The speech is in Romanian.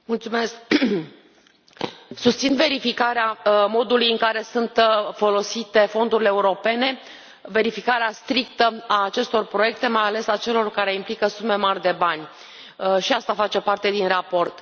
Domnule președinte, susțin verificarea modului în care sunt folosite fondurile europene, verificarea strictă a acestor proiecte, mai ales a celor care implică sume mari de bani și asta face parte din raport.